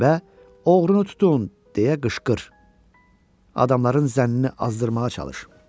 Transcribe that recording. və "oğrunu tutun" deyə qışqır, adamların zənnini azdırmağa çalış.